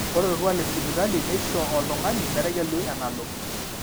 ore orkuaak lesipitali neisho oltung'ani metegelu enalo